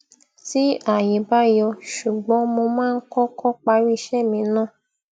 tí ayé bá yọ ṣùgbón mo máa ń kọkọ parí iṣẹ mi ná